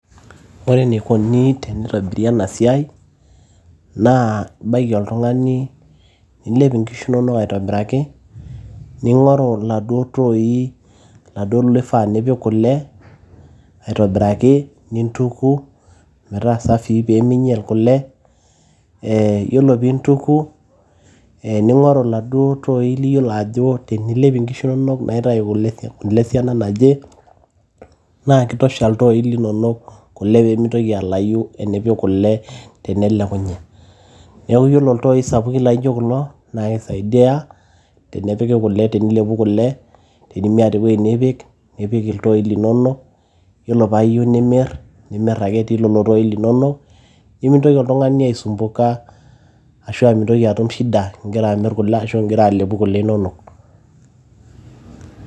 ore enikoni tenitobiri ena siai naa ibaiki oltung'ani nilep inkishu inonok aitobiraki ning'oru iladuo tooi laduo nifaa nipik kule aitobiraki nintuku metaa safii peeminyial kule ee yiolo piintuku e ning'oru iladuo tooi liyiolo ajo tenilep inkishu naitai kule esiana naje naa kitosha iltooi linonok kule peemitoki alayu enipik kule tenelekunye niaku yiolo iltooi sapukin laijo naa kisaidia tenepiki kule, tenilepu kule tenimiata ewueji nipik, nipik iltooi linonok yiolo paa iyieu nimirr, nimirr ake etii lelo tooi linonok nimintoki oltung'ani aisumbuka ashua mintoki atum shida ingirra amirr kule ashu ingira alepu kue inonok.